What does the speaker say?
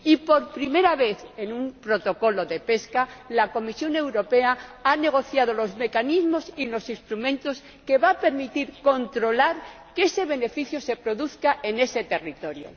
Y, por primera vez en un protocolo de pesca, la Comisión Europea ha negociado los mecanismos y los instrumentos que van a permitir controlar que ese beneficio se produzca en ese territorio.